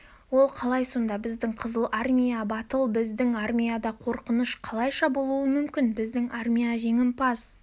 ол қалай сонда біздің қызыл армия батыл біздің армияда қорқыныш қалайша болуы мүмкін біздің армия жеңімпаз